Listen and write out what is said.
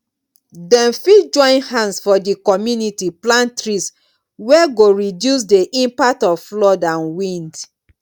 dem fit join hand for di community plant trees wey go reduce the impact of flood and wind